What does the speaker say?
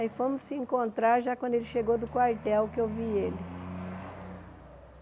Aí fomos se encontrar já quando ele chegou do quartel que eu vi ele.